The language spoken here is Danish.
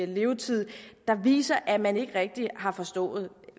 levetid der viser at man ikke rigtig har forstået